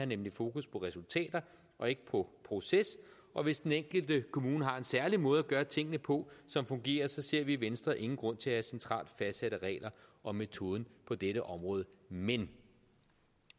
nemlig fokus på resultater og ikke på proces og hvis den enkelte kommune har en særlig måde at gøre tingene på som fungerer så ser vi i venstre ingen grund til at have centralt fastsatte regler om metoden på dette område men